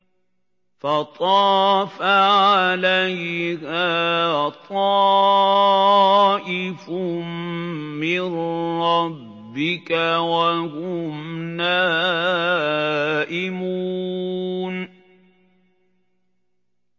فَطَافَ عَلَيْهَا طَائِفٌ مِّن رَّبِّكَ وَهُمْ نَائِمُونَ